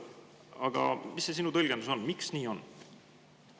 Aga mis see sinu tõlgendus on, miks nii on?